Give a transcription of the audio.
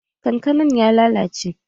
Kankanan ya lalace